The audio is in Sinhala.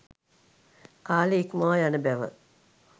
කාලය ඉක්මවා යන බැව